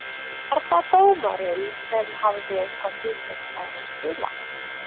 Var það dómarinn sem hafði eitthvað hlutverk þar að spila?